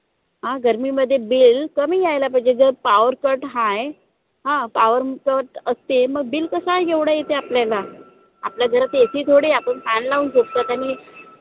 अं गर्मीमध्ये bill कमी यायला पाहिजे जर, power cut हाय अं power cut असते. मग bill कसा एवढं येते आपल्याला आपल्या घरात AC थोडी आहे आपण fan लावून झोपतो त्यांनी